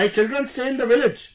My children stay in the village